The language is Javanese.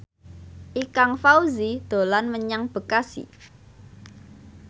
Ikang Fawzi dolan menyang Bekasi